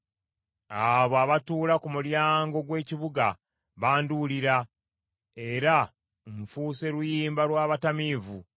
Abo abatuula ku mulyango gw’ekibuga banduulira, era nfuuse luyimba lw’abatamiivu.